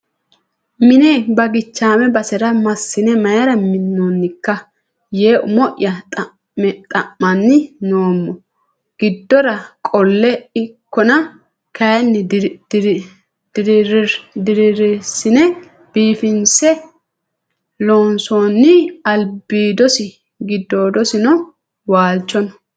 Mine bagichame basera massine mayra minonikka yee umo'ya xa'manni noommo giddora qole ikkonna kayinni dirirsine biifinse loonsonni albidosi giddoodosino waalchono.